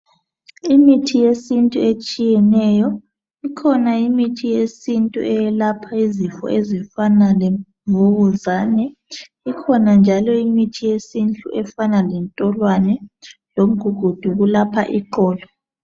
imithi yesintu etshiyeneyo ikhona imithi eyesintu eyelapha izifo ezifana lemvukuzana ikhona njalo imithi yesintu efana lentolwane lomgugudu okulapha iqolo